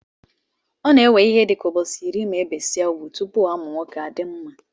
Ọ na ewe ihe dika ubọchi iri ma ebesia ugwụ, tụpụ amụ nwọke adimma.